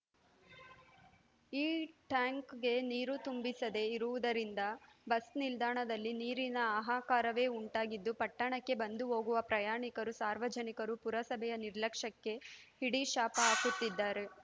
ಈ ಟ್ಯಾಂಕ್‌ಗೆ ನೀರು ತುಂಬಿಸದೆ ಇರುವುದರಿಂದ ಬಸ್‌ ನಿಲ್ದಾಣದಲ್ಲಿ ನೀರಿನ ಆಹಾಕಾರವೇ ಉಂಟಾಗಿದ್ದು ಪಟ್ಟಣಕ್ಕೆ ಬಂದು ಹೋಗುವ ಪ್ರಯಾಣಿಕರು ಸಾರ್ವನಿಕರು ಪುರಸಭೆಯ ನಿರ್ಲಕ್ಷ್ಯಕ್ಕೆ ಹಿಡಿಶಾಪ ಹಾಕುತ್ತಿದ್ದಾರೆ